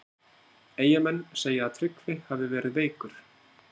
Eyjamenn segja að Tryggvi hafi verið veikur.